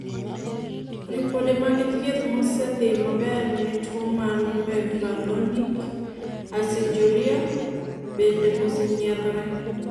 ripode mag thieth mosedhi maber ne tuo mar mevalonic aciduria bende osenyiedhore